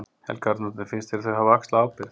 Helga Arnardóttir: Finnst þér þau hafa axlað ábyrgð?